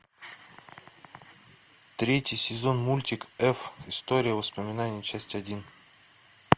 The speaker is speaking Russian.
третий сезон мультик эф история воспоминаний часть один